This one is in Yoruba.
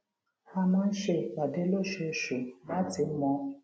a máa ń ṣe ìpàdé lóṣooṣù láti mọ